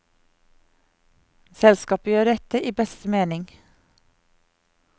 Selskapet gjør dette i beste mening.